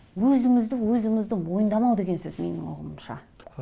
өзімізді өзіміздің мойындамау деген сөз менің ұғымымша